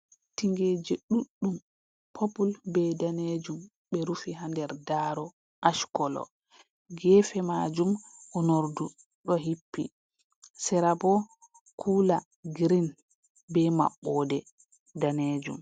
Tingeje ɗuɗɗum purpple be danejum, ɓe rufi haa nder daaro ash colour, gefe majum unordu ɗo hippi, serabo cooler green be maɓɓode danejum.